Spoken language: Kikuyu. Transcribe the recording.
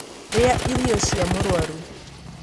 Rĩa irio cia mũrwaru